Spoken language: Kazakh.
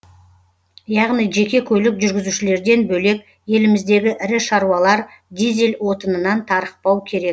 яғни жеке көлік жүргізушілерден бөлек еліміздегі ірі шаруалар дизель отынынан тарықпау керек